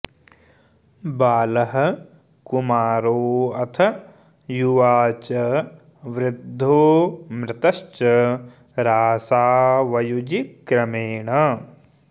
बालः कुमारोऽथ युवा च वृद्धो मृतश्च राशावयुजि क्रमेण